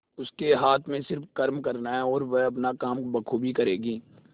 उसके हाथ में सिर्फ कर्म करना है और वह अपना काम बखूबी करेगी